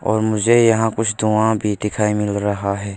और मुझे यहाँ कुछ धुंआ भी दिखाई मिल रहा है।